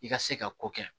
I ka se ka ko kɛ